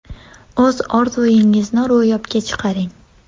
O‘z orzungizni ro‘yobga chiqaring!